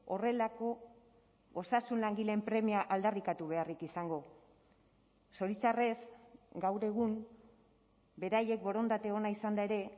horrelako osasun langileen premia aldarrikatu beharrik izango zoritxarrez gaur egun beraiek borondate ona izanda ere